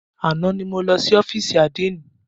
Àná ni mo lọ sí ófìsì àdénì.